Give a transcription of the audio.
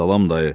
Salam dayı.